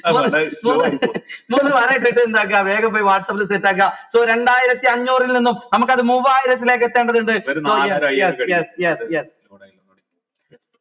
വേഗം പോയ് whatsapp ൽ set ആക്ക so രണ്ടായിരത്തി അന്നൂറിൽ നിന്നും നമുക്കത് മൂവായിരത്തിലേക്ക് എത്തണ്ടതുണ്ട്